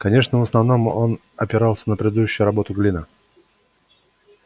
конечно в основном он опирался на предыдущую работу глина